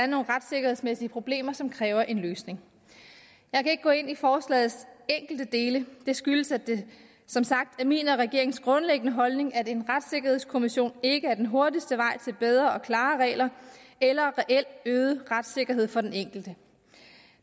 nogle retssikkerhedsmæssige problemer som kræver en løsning jeg kan ikke gå ind i forslagets enkelte dele det skyldes som sagt at min og regeringens grundlæggende holdning er at en retssikkerhedskommission ikke er den hurtigste vej til bedre og klarere regler eller reelt øget retssikkerhed for den enkelte